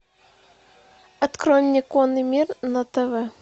открой мне конный мир на тв